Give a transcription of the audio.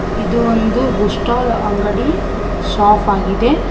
ಇದು ಒಂದು book stall ಅಂಗಡಿ ಶಾಪ್ ಆಗಿದೆ.